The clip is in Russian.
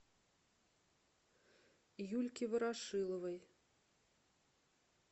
юльке ворошиловой